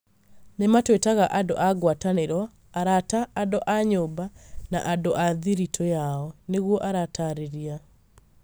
Nĩ maatwĩtaga andũ a ngwatanĩro, arata, andũ a nyũmba, na andũ a thiritũ yao", niguo aratariria.